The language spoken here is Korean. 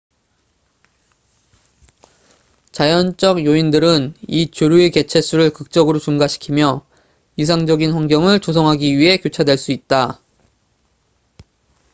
자연적 요인들은 이 조류의 개체 수를 극적으로 증가시키며 이상적인 환경을 조성하기 위해 교차될 수 있다